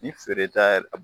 N'i feee ta